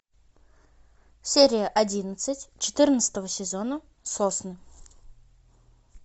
серия одиннадцать четырнадцатого сезона сосны